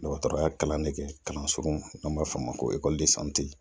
Dɔgɔtɔrɔya kalan ne kɛ kalan surun n'an b'a fɔ o ma ko